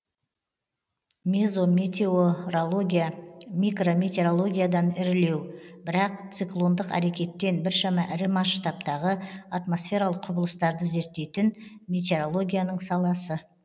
мезометеорология микрометеорологиядан ірілеу бірақ циклондық әрекеттен біршама ірі масштабтағы атмосфералық құбылыстарды зерттейтін метеорологияның саласы